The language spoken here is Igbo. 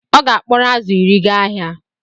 Ọ ga-akporo azụ̀ iri gaa ahịa